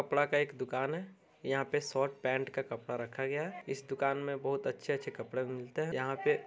कपड़ा का एक दुकान है। यहाँ पे शर्ट पेंट का कपड़ा रखा गया है। इस दुकान में बहुत अच्छे-अच्छे कपड़े मिलते हैं। यहाँ पे --